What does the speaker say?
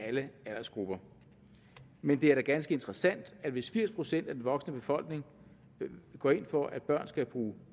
alle aldersgrupper men det er da ganske interessant at hvis firs procent af den voksne befolkning går ind for at børn skal bruge